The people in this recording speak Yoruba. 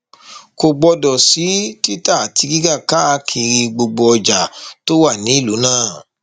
kò gbọdọ sí títà àti rírà káàkiri gbogbo ọjà tó wà nílùú náà